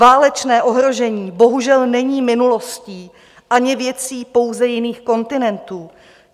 Válečné ohrožení bohužel není minulostí ani věcí pouze jiných kontinentů.